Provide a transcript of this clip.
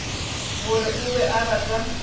gore o be a rata